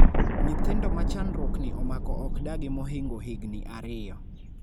nyithindo ma chandruok ni omako ok dagi mohingo higni ariyo